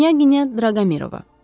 Knyaginya Draqomirova.